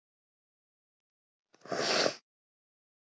Kanada á stríðsárunum og lærði að fljúga í flugskóla Konna með